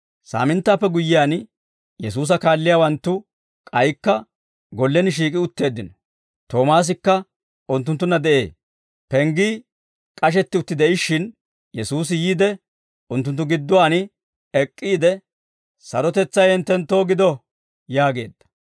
Saaminttaappe guyyiyaan, Yesuusa kaalliyaawanttu k'aykka gollen shiik'i utteeddino; Toomaasikka unttunttunna de'ee. Penggii k'ashetti utti de'ishshin, Yesuusi yiide, unttunttu gidduwaan ek'k'iide, «Sarotetsay hinttenttoo gido» yaageedda.